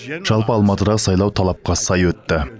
жалпы алматыдағы сайлау талапқа сай өтті